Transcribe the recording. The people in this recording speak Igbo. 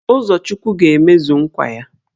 Uzochukwu ga-emezu nkwa ya